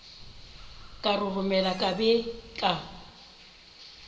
ka roromela ka be ka